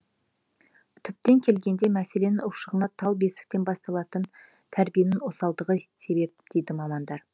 түптен келгенде мәселенің ушығуына тал бесіктен басталатын тәрбиенің осалдығы себеп дейді мамандар